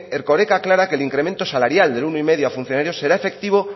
erkoreka aclara que el incremento salarial del uno coma cinco a funcionarios será efectivo